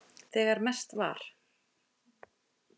Þegar mest var.